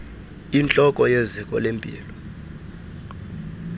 intloko yeziko lempilo